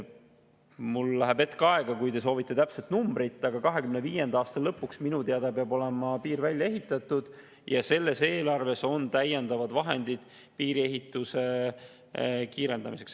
Mul läheb hetk aega, kui te soovite täpset numbrit, aga 2025. aasta lõpuks peab minu teada olema piir välja ehitatud ja selles eelarves on täiendavad vahendid piiriehituse kiirendamiseks.